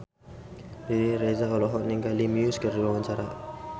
Riri Reza olohok ningali Muse keur diwawancara